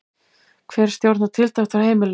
Hver stjórnar tiltekt á heimilinu?